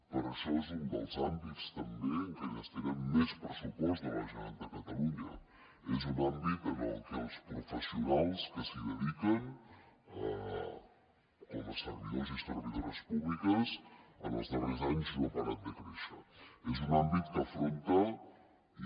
per això és un dels àmbits també en què hi destinem més pressupost de la generalitat de catalunya és un àmbit en el que els professionals que s’hi dediquen com a servidors i servidores públiques en els darrers anys no han parat de créixer és un àmbit que afronta i